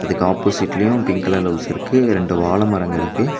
இதுக்கு ஆப்போசிட்லயு பிங்க் கலர்ல ஹவுஸ் இருக்கு ரெண்டு வாழ மரங்கள் இருக்கு.